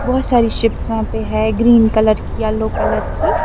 بہت ساری شپ یہاں پہ ہیں، گرین کلر کی، یلو کلر کی --